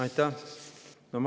Aitäh!